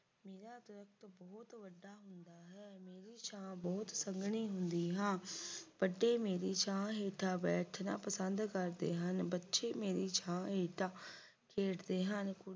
ਮੇਰੀ ਛਾਂ ਬਹੁਤ ਸੰਘਣੀ ਹੁੰਦੀ ਆ ਵੱਡੇ ਮੇਰੀ ਛਾਂ ਹੇਠਾਂ ਬੈਠਣਾ ਪਸੰਦ ਕਰਦੇ ਹਨ। ਬੱਚੇ ਮੇਰੀ ਛਾਂ ਹੇਠਾਂ ਖੇਡਦੇ ਹਨ।